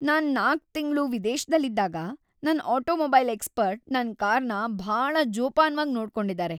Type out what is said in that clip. ನಾನ್ ೪ ತಿಂಗ್ಳು ವಿದೇಶ್ದಲ್ಲಿದ್ದಾಗ ನನ್ ಆಟೋಮೊಬೈಲ್ ಎಕ್ಸ್ಪರ್ಟ್ ನನ್ ಕಾರ್‌ನ ಭಾಳ ಜೋಪಾನ್ವಾಗ್‌ ನೋಡ್ಕೊಂಡಿದಾರೆ.